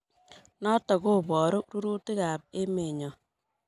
Notok kobooru rurutiikab emenyo.